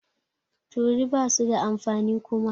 Turi basu da amfani Kuma.